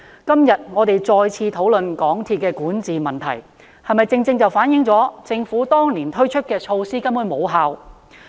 今天，我們再次討論港鐵公司的管治問題，是否正正反映政府當年推出的措施根本無效？